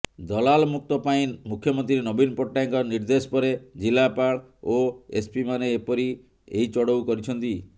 ଦଲାଲମୁକ୍ତ ପାଇଁ ମୁଖ୍ୟମନ୍ତ୍ରୀ ନବୀନ ପଟ୍ଟନାୟକଙ୍କ ନିର୍ଦ୍ଦେଶ ପରେ ଜିଲ୍ଲାପାଳ ଓ ଏସ୍ପିମାନେ ଏପରି ଏହି ଚଢଉ କରିଛନ୍ତି